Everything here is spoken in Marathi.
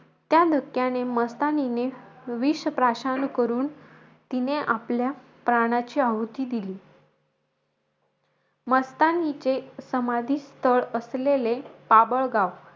त्या धक्क्याने, मस्तानीने, विष प्रश्न करून, तिने आपल्या प्राणाची आहुती दिली. मस्तानीचे समाधीस्थळ असलेले बाभळगाव,